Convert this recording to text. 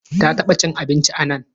Ta taba cin abinci anan?